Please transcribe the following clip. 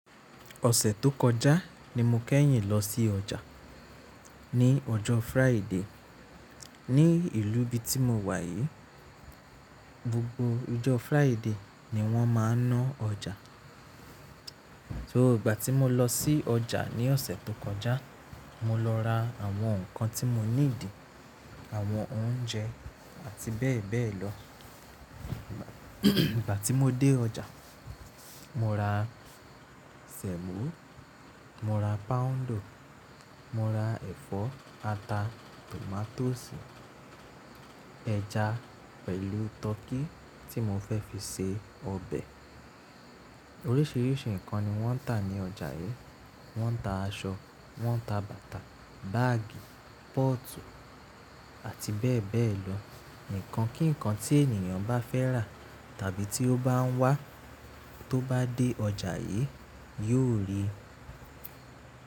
Ọ̀sẹ̀ tó kọjá ni mo kẹ́yìn lọ sí ọjà. Ni ọjọ́ Friday. Ni ìlú bi tí mo wà yìí, gbogbo ọjọ́ Friday ni wón máa ń ná ọjà. Ìgbà tí mo lọ sí ọjà ní ọ̀sẹ̀ tó kọjá, mo lọ ra àwọn nǹkan tí mo níi dì, àwọn oúnjẹ àti bẹ́ẹ̀ bẹ́ẹ̀ lọ. Ìgbà tí mo dé ọjà, mo ra sẹ̀mọ́, mo ra páńdọ̀, mo ra ẹ̀fọ́, ata, tòmátósì, ẹja pẹ̀lú tọkí tí mo fẹ́ fi se ọbẹ̀. Oríṣiríṣi nǹkan ni wọ́n ń tà ní ọjà yìí. Wọ́n ń tà aṣọ, wọ́n ń tà bàtà, báágì, pọ́ọ̀tù àti bẹ́ẹ̀ bẹ́ẹ̀ lọ. Ǹkan kí ǹkan tí ènìyàn bá fẹ́ rà tàbí tí ó bá ń wá, tó bá dé ọjà yìí, yóò rí i.